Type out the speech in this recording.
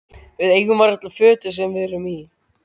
Við eigum varla fötin sem við erum í.